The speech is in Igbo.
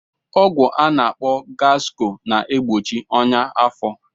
Ọgwụ a na-akpọ gaskọl na-egbochi ọnyá afọ.